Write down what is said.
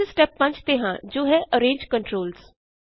ਅਸੀਂ ਸਟੇਪ 5 ਤੇ ਹਾਂ ਜੋ ਹੈ ਅਰੇਂਜ controls